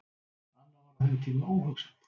Annað var á þeim tíma óhugsandi.